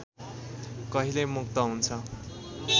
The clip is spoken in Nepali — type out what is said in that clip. कहिले मुक्त हुन्छ